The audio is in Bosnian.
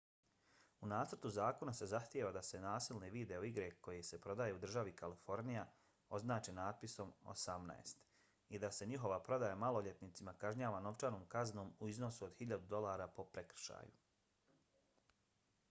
u nacrtu zakona se zahtijeva da se nasilne video igre koje se prodaju u državi kalifornija označe natpisom 18 i da se njihova prodaja maloljetnicima kažnjava novčanom kaznom u iznosu od 1000 dolara po prekršaju